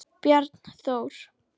Bjarnþór